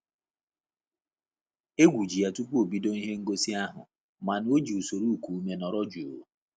Egwu ji ya tupu ebido ihe ngosi ahụ mana ọ ji usoro iku ume nọrọ jụụ